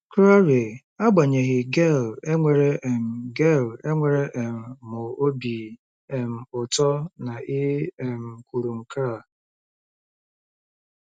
Claire: Agbanyeghị, Gail, enwere um Gail, enwere um m obi um ụtọ na ị um kwuru nke a.